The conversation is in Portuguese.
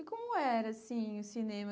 E como era assim o cinema?